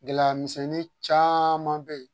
Gɛlɛya misɛnnin caman bɛ yen